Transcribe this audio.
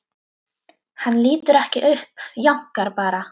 Hann lítur ekki upp, jánkar bara.